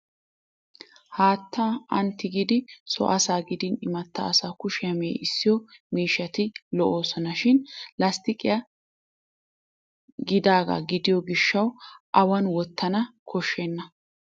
Haattaa ani tigidi so asaa gidin imatta asaa kushiyaa mee'issiyo miishshati lo'oosona. Shin lasttiqiyaa giigidaagaa gidiyo gishshawu awan wottana koshenna.